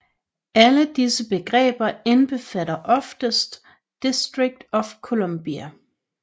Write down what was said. Alle disse begreber indbefatter oftest District of Columbia